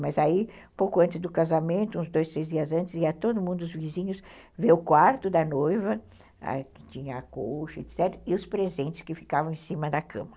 Mas aí, pouco antes do casamento, uns dois, três dias antes, ia todo mundo, os vizinhos, ver o quarto da noiva, ãh, que tinha a coxa, etc., e os presentes que ficavam em cima da cama.